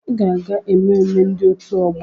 Ịga aga-ememme ndị òtù ọgbọ!